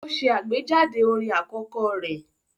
Ó ṣe àgbéjáde orin àkọ́kọ́ rẹ̀